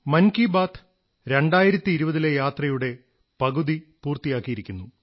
മൻ കീ ബാത് 2020 ലെ പകുതി യാത്രപൂർത്തിയാക്കിയിരിക്കുന്നു